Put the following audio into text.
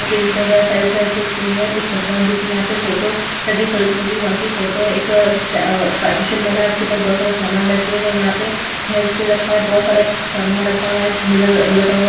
Trim कर रहा है साइड - साइड से उसके हेअर एक भगवान जी की यहाँ पे फोटो लगी सरस्वती माँ की फोटो है एक पार्टीश बना है उसके ऊपर बहुत सारा समान रखे हुए हैं यहाँ पे हेयर स्प्रे रखा है बहुत सारा समान रखा हुआ है यहाँ एक मिरर लगा हुआ हैं।